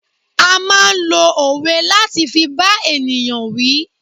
A máa lo òwe láti fi bá ènìyàn wí.